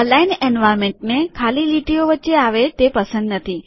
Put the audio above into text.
aligned એન્વાર્નમેન્ટને ખાલી લીટીઓ વચ્ચે આવે તે પસંદ નથી